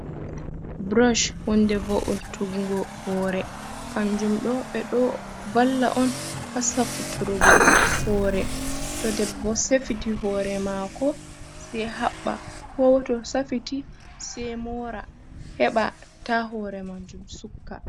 Burosh honde vo’utuggo hore, kanjum ɗo ɓeɗo valla on ha safiturgo hore, to debbo safiti hore mako, se haɓɓa, ko to safiti se mora, heɓa ta hore majum suka.